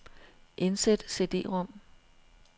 Indsæt cd-rom.